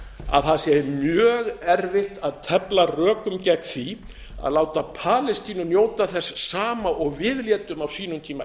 að það sé mjög erfitt að tefla rökum gegn því að láta palestínu njóta þess sama og við létum á sínum tíma